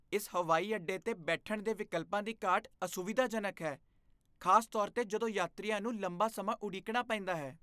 ਇਸ ਹਵਾਈ ਅੱਡੇ 'ਤੇ ਬੈਠਣ ਦੇ ਵਿਕਲਪਾਂ ਦੀ ਘਾਟ ਅਸੁਵਿਧਾਜਨਕ ਹੈ, ਖਾਸ ਤੌਰ 'ਤੇ ਜਦੋਂ ਯਾਤਰੀਆਂ ਨੂੰ ਲੰਬਾ ਸਮਾਂ ਉਡੀਕਣਾ ਪੈਂਦਾ ਹੈ।